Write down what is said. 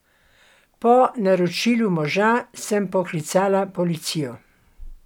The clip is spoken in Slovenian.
Po naročilu moža sem poklicala policijo.